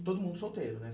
E todo mundo solteiro, né?